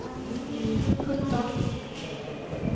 sjutton